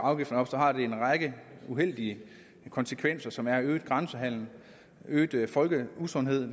afgifterne op har det en række uheldige konsekvenser som er øget grænsehandel øget øget folkeusundhed